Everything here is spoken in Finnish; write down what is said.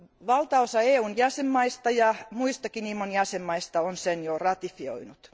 Valtaosa EUn jäsenvaltioista ja muista IMOn jäsenvaltioista on sen jo ratifioinut.